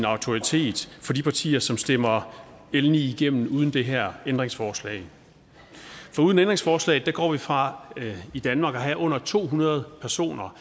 autoritet for de partier som stemmer l ni igennem uden det her ændringsforslag for uden ændringsforslaget går man fra at vi i danmark har under to hundrede personer